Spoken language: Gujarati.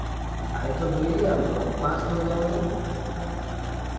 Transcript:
હા એ તો જોઈએ આપડ પાસ થઇ જવા દે